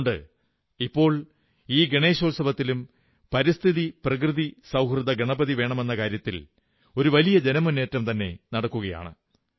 അതുകൊണ്ട് ഇപ്പോൾ ഈ ഗണേശോത്സവത്തിലും പരിസ്ഥിതിപ്രകൃതി സൌഹൃദ ഗണപതി വേണമെന്ന കാര്യത്തിൽ ഒരു വലിയ ജനമുന്നേറ്റം തന്നെ നടക്കുകയാണ്